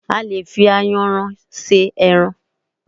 A lè fi Ayanran se ẹran.